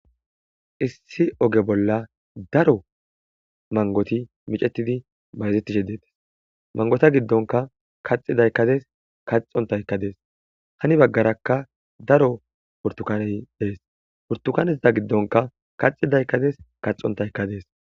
issi oge bolla daro mangoti micetidi bayzetishe dettes mangota giddonka kaxi daykkades kaxontaykka dees hani baggarakka daro burtukaney dees pburtukaneza giddonka kaxi daykkades kaxontaykka dees